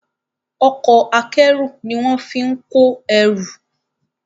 Ọkọ̀ akẹ́rù ní wón fín kọ ẹrù.